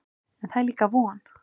En það er líka von.